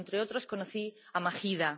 pero, entre otros, conocí a Mahida.